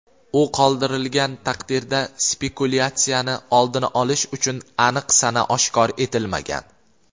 u qoldirilgan taqdirda spekulyatsiyani oldini olish uchun aniq sana oshkor etilmagan.